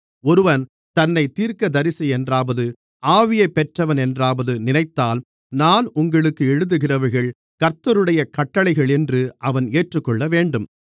ஒருவன் தன்னைத் தீர்க்கதரிசியென்றாவது ஆவியைப் பெற்றவனென்றாவது நினைத்தால் நான் உங்களுக்கு எழுதுகிறவைகள் கர்த்தருடைய கட்டளைகளென்று அவன் ஏற்றுக்கொள்ளவேண்டும்